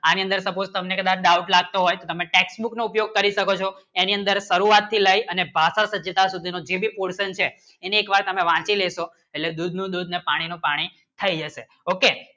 એની અંદર support ને doubt લાગતો હોય તમને tax book ની ઉપયોગ કરી શકો છો એની અંદર કરું વાશી like અને ભાષા માં જે ભી portion છે એને એક વાર તમે વાંચી લેચી અને દૂધ ની દૂહા અને પાણી ને પાણી થાય ગયો શે okay